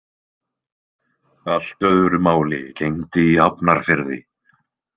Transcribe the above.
Allt öðru máli gegndi í Hafnarfirði.